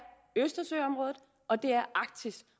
i østersøområdet og det er i arktis